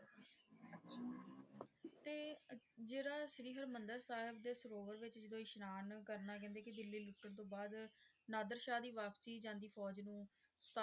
ਤੇ ਜਿਹੜਾ ਸ਼੍ਰੀ ਹਰਿਮੰਦਰ ਸਾਹਿਬ ਦੇ ਸਰੋਵਰ ਵਿਚ ਜਦੋ ਇਸ਼ਨਾਨ ਕਰਨਾ, ਕਹਿੰਦੇ ਕਿ ਦਿੱਲੀ ਲੁੱਟਣ ਤੋਂ ਬਾਅਦ ਨਾਦਰਸ਼ਾਹ ਦੀ ਵਾਪਸੀ ਜਾਂਦੀ ਫੌਜ ਨੂੰ,